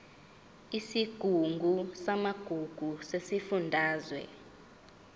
isigungu samagugu sesifundazwe